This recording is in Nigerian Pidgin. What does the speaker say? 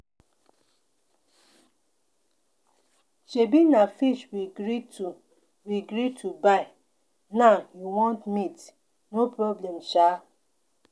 Shebi na fish we gree to we gree to buy now you want meat. No problem shaa.